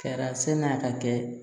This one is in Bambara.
Kari a sen n'a ka kɛ